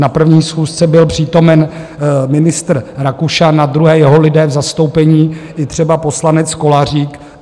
Na první schůzce byl přítomen ministr Rakušan, na druhé jeho lidé v zastoupení, i třeba poslanec Kolařík.